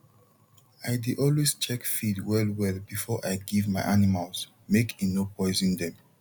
i dey always check feed well well before i give my animals make e no poison dem